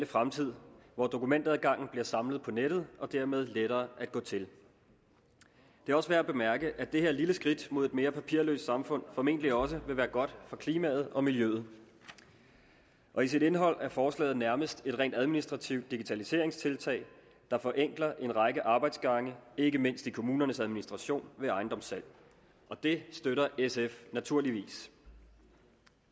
fremtid hvor dokumentadgangen bliver samlet på nettet og tingene dermed lettere at gå til det er også værd at bemærke at det her lille skridt mod et mere papirløst samfund formentlig også vil være godt for klimaet og miljøet og i sit indhold er forslaget nærmest et rent administrativt digitaliseringstiltag der forenkler en række arbejdsgange ikke mindst i kommunernes administration ved ejendomssalg og det støtter sf naturligvis